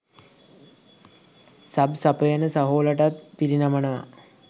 sub සපයන සහෝලටත් පිරිනමනවා